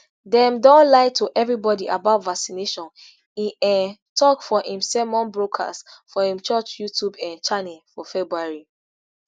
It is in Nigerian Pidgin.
dem don lie to evribodi about vaccination e um tok for im sermon broadcast for im church youtube um channel for february